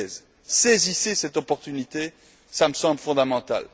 2013. Saisissez cette opportunité, cela me semble fondamental.